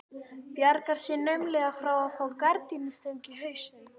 Bjargar sér naumlega frá að fá gardínustöng í hausinn.